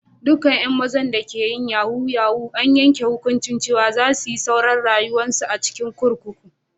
Dukan yan mazan da ke yin yahoo -yahoo an yanke hukunci cewa za su yi sauran rayuwa'n su a'kurkuku.